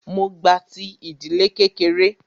Mó gba ti ìdílé kékeré.